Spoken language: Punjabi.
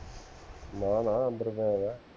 ਨਾ ਨਾ ਅੰਦਰ ਪਿਆ ਹੈਗਾ